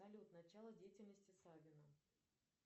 салют начало деятельности савина